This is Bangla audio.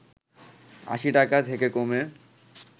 ৮০ টাকা থেকে কমে